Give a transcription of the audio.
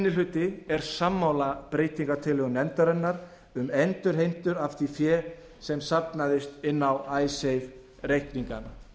hluti er sammála breytingartillögum meiri hlutans um endurheimtur á því fé sem safnaðist inn á icesave reikningana